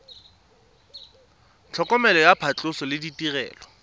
tlhokomelo ya phatlhoso le ditirelo